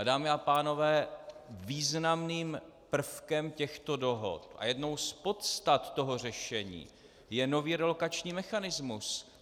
A dámy a pánové, významným prvkem těchto dohod a jednou z podstat toho řešení je nový relokační mechanismus.